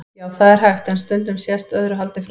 Já, það er hægt, en stundum sést öðru haldið fram.